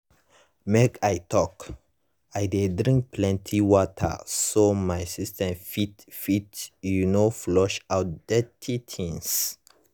make i talk- i dey drink plenty water so my system fit fit you know flush out dirty things